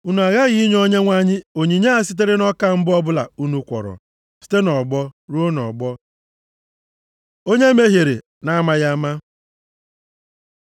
Unu aghaghị inye Onyenwe anyị onyinye a sitere nʼọka mbụ ọbụla unu kwọrọ, site nʼọgbọ ruo nʼọgbọ. Onye mehiere na-amaghị ama